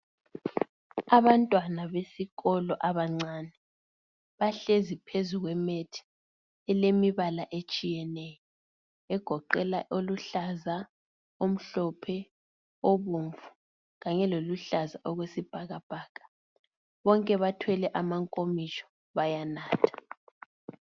Abantwana besikolo abancane bahlezi phezu kwemethi elemibala etshiyeneyo egoqela oluhlaza , omhlophe , obomvu kanye loluhlaza okwesibhakabhaka bonke bathwele amankomitsho bayanatha.